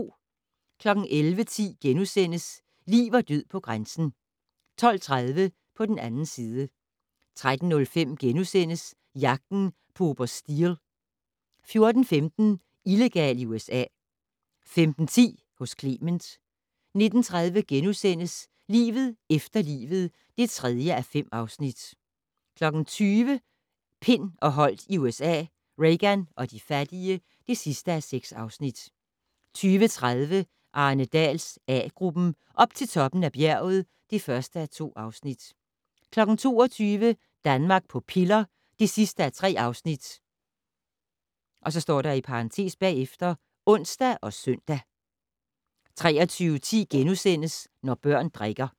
11:10: Liv og død på grænsen * 12:30: På den 2. side 13:05: Jagten på oberst Steele * 14:15: Illegal i USA 15:10: Hos Clement 19:30: Livet efter livet (3:5)* 20:00: Pind og Holdt i USA - Reagan og de fattige (6:6) 20:30: Arne Dahls A-gruppen: Op til toppen af bjerget (1:2) 22:00: Danmark på piller (3:3)(ons og søn) 23:10: Når børn drikker *